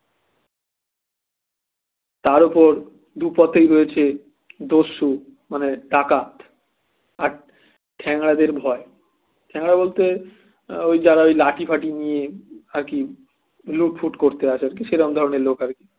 তার ওপর দু পথেই রয়েছে দস্যু মানে ডাকাত আর ঠ্যাঙরা দের ভয় ঠ্যাঙরা বলতে ওই যারা ওই লাঠি ফাটি নিয়ে আর কি লুটফুট করতে আসে তো সেরম ধরনের লোক আর কি